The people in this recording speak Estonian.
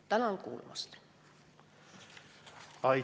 Tänan kuulamast!